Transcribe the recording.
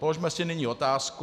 Položme si nyní otázku.